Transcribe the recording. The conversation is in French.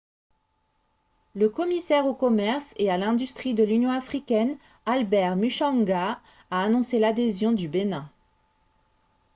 le commissaire au commerce et à l'industrie de l'union africaine albert muchanga a annoncé l'adhésion du bénin